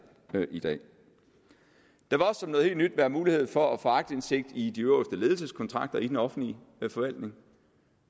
i dag og som noget helt nyt være mulighed for at få aktindsigt i de øverste ledelseskontrakter i den offentlige forvaltning